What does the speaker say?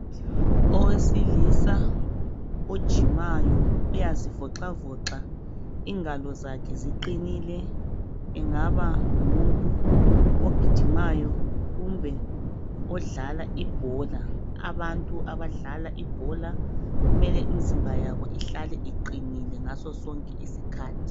Owesilisa ojimayo uyazivoxavoxa ingalo zakhe ziqinile, engaba ngumuntu ogijimayo kumbe odlala ibhola. Abantu abadlala ibhola kumele imizimba yabo ihlale iqinile ngaso sonke isikhathi.